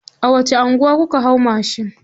A wace anguwa kuka hau mashin?